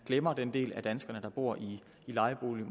glemmer den del af danskerne der bor i lejebolig